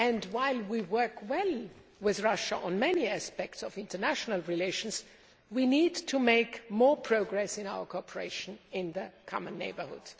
While we work well with Russia on many aspects of international relations, we need to make more progress in our cooperation in the common neighbourhood.